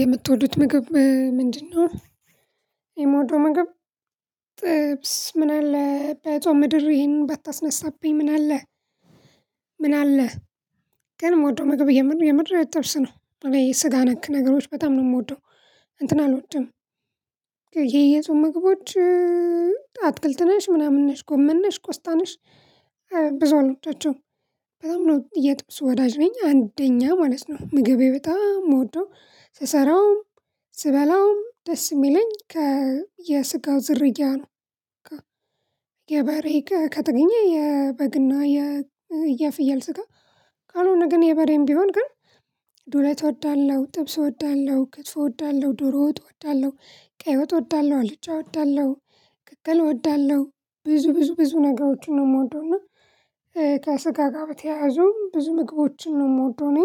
የምትወዱት ምግብ ምንድነው? የመወደው ምግብ ጥብስ ምን አለ በጾም ምድር ይሄንን ባታስነሳብኝ ምን አለ ምን አለ? ግን የምወደው ምግብ የምር የምር ጥብስ ነው እኔ ስጋ ነክ ነገሮች በጣም ነው የምወደው። እንትን አልወድም። ይሄ የጾም ምግቦች አትክልት ነሽ ምናምን ነሽ ጎመን ነሽ ቆስጣ ነሽ። ብዙ አላወዳቸውም። በጣም ነው የጥብስ ወዳጅ ነኝ አንደኛ ማለት ነው ምግቤ በጣም መወደው ስሰራውም ስበላውም ደስ የሚለኝ ከ የስጋው ዝርያ ነው። የበሬ ከተገኘ የበግና የፍያል ስጋ ካልሆነ ግን የበሬም ቢሆን ግን ዱለት እወዳለሁ ጥብስ እወዳለሁ ክትፎ እወዳለሁ ዶሮ ወጥ እወዳለሁ ቀይ ወጥ እወዳለሁ አልጫ እወዳለሁ። ቅቅል እወዳለሁ ብዙ ብዙ ብዙ ነገሮችን ነው የምወደው። እና ከስጋ ጋር በተያያዙ ብዙ ምግቦችን ነው የምወደው እኔ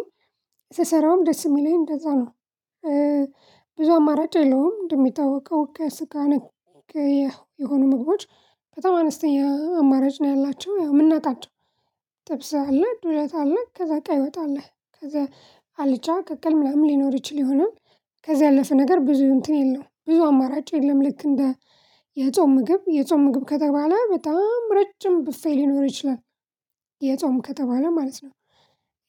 ስሰራውም ደስ የሚለኝ እንደዛ ነው። ብዙ አማራጭ የለውም እንደሚታወቀው ከስጋነክ የሆኑ ምግቦች በጣም አነስተኛ አማራጭ ነው ያላቸው ያው የምናጣቸው። ጥብስ ዱለት አለ ከዛ ቀይ ወጥ አለ ከዛ አልጫ ቅቅል ምናምን ሊኖር ይችል ይሆናል። ከዛ ያለፈ ነገር ብዙ እንትን የለውም ብዙ አማራጭ የለም። ልክ እንደ የጾም ምግብ የጾም ምግብ ከተባለ በጣም ረጅም ብፌ ሊኖር ይችላል። የጾም ከተባለ ማለት ነው።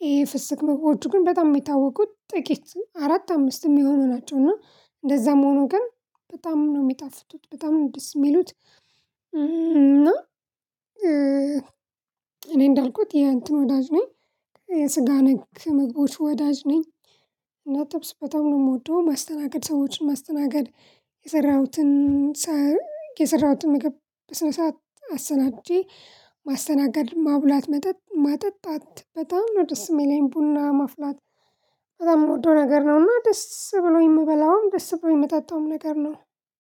ይሄ ፍስክ ምግቦች ግን በጣም የሚታወቁት ጥቂት አራት አምስት የሚሆኑ ናቸው እና እንደዛም ሆኖ ግን በጣም ነው የሚጣፍቱት በጣም ነው ደስ የሚሉት። እና እኔ እንዳልኩት ይሄ እንትን ወዳጅ ነው። የስጋ ነክ ምግቦች ወዳጅ ነኝ። እና ጥብስ በጣም ነው የምወደው ማስተናገድ ሰዎችን ማስተናገድ የሰራሁትን ሰር የሰራሁትን ምግብ በስነ ስርዓት አሰተናግጄ። ማስተናገድ ማብላት መጠጣት በጣም ነው ደስ የሚለኝ ቡና ማፍላት። በጣም የምወደው ነገር ነውና ደስ ብሎኝ የምበላውም ደስ ብሎኝ የምጠጣውም ነገር ነው።